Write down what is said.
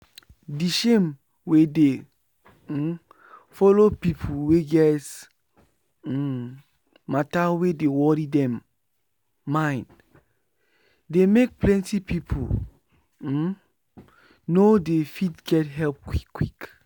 the shame wey dey um follow people wey get um matter wey dey worry dem mind dey make plenty people um no dey fit get help quick quick